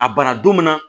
A bara don min na